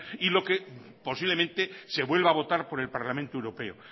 y lo que posiblemente se vuelva a votar por el parlamento europeo